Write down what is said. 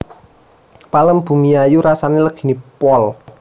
Pelem Bumiayu rasane legine pol